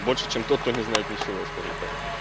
больше чем тот кто не знает ничего скажем так